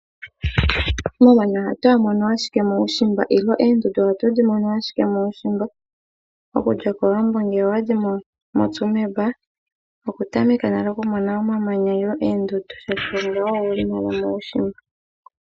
Omamanya ohatu ga mono ashike muushimba nenge oondundu ohatu dhi mono ashike muushimba, okuza kOwambo ngele owedhi mono moTsumeb, oku tameka tameka nale okumona omamanya nenge oondundu oshoka oyo yimwe yomuushimba.